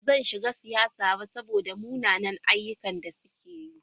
Ba zan shiga siyasa ba saboda munanan ayyukan da suke yi.